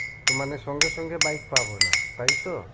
তো মানে সঙ্গে সঙ্গে bike পাবো না তাই তো?